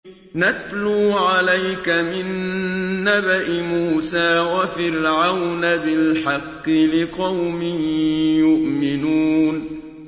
نَتْلُو عَلَيْكَ مِن نَّبَإِ مُوسَىٰ وَفِرْعَوْنَ بِالْحَقِّ لِقَوْمٍ يُؤْمِنُونَ